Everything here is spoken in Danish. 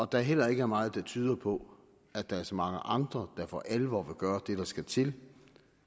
der heller ikke er meget der tyder på at der er så mange andre der for alvor vil gøre det der skal til